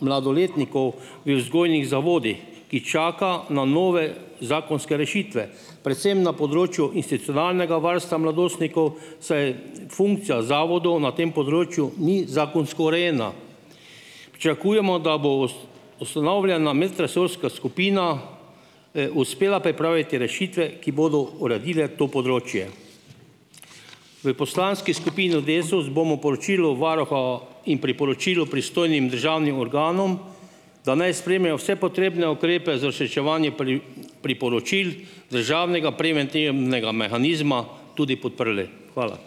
mladoletnikov v vzgojnih zavodih, ki čaka na nove zakonske rešitve, predvsem na področju varstva mladostnikov, saj funkcija zavodov na tem področju ni zakonsko urejena. Pričakujemo, da bo ustanovljena medresorska skupina, uspela pripraviti rešitve, ki bodo uredile to področje. V poslanski skupini Desus bomo poročilo varuha in priporočilo pristojnim državnim organom, da naj sprejmejo vse potrebne ukrepe za uresničevanje priporočil državnega mehanizma, tudi podprli. Hvala.